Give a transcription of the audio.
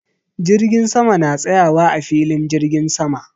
Jirgin sama na tsayawa a filin jirgin sama.